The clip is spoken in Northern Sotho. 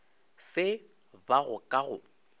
se ba go ka go